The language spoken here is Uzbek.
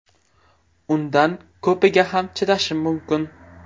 Undan ko‘piga ham chidashim mumkin.